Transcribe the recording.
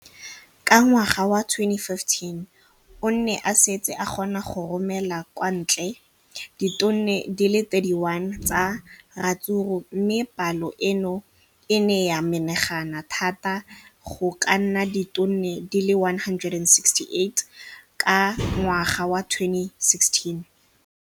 Ka ngwaga wa 2015, o ne a setse a kgona go romela kwa ntle ditone di le 31 tsa ratsuru mme palo eno e ne ya menagana thata go ka nna ditone di le 168 ka ngwaga wa 2016.